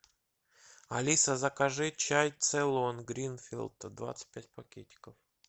алиса закажи чай цейлон гринфилд двадцать пять пакетиков